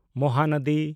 Mahanadi